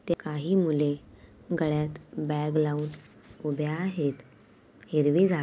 काही मुले गळ्यात बॅग लावून उभे आहेत हिरवी झा--